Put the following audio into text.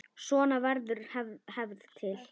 Svona verður hefð til.